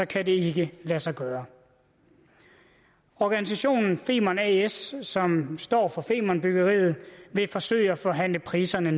kan det ikke lade sig gøre organisationen femern as som står for femernbyggeriet vil forsøge at forhandle priserne